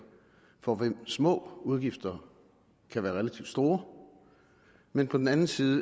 for hvem små udgifter kan være relativt store men på den anden side